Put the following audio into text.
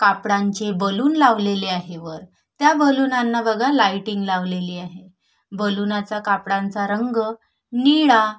कापडांचे balloon लावलेले आहे वर त्या बलुनाना बघा लाईटिंग लावलेली आहे बलुनाचा कापडाचा रंग निळा--